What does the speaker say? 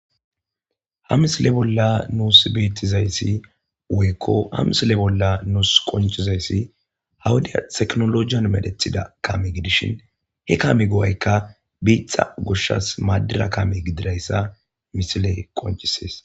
hamisile bolla nuus beettizayssi woykko hamisile bolla nuus qoncizayssi hawuda teknologiyan medethida kami gidishin he kami go7aykka biixa gushshas maaddira kame gididayssa misile qoncisees